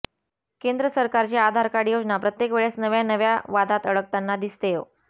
केंद्र सरकारची आधार कार्ड योजना प्रत्येक वेळेस नव्या नव्या वादांत अडकताना दिसतेय